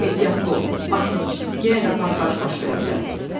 Ehtiyatlı ol, Maksimiç, yenə də partlayış baş verə bilər!